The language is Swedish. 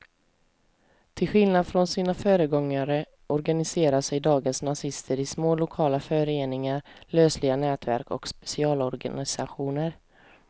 Till skillnad från sina föregångare organiserar sig dagens nazister i små lokala föreningar, lösliga nätverk och specialorganisationer.